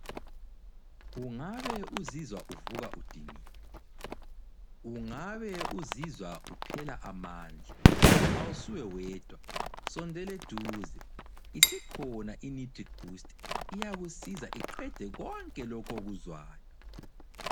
Ungabe uzizwa uvuka udiniwe, ungabe uzizwa uphela amandla, awusuwe wedwa sondela eduze. Isikhona iNitric boost, iyakusiza iqede konke okuzwayo.